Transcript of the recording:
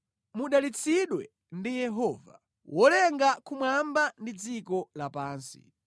Mudalitsidwe ndi Yehova, Wolenga kumwamba ndi dziko lapansi.